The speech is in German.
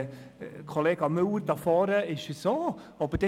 Kollega Müller da vorne ist es, glaube ich, auch.